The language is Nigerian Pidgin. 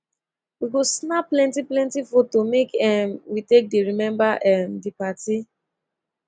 we go snap plenty plenty foto make um we take dey remember um di party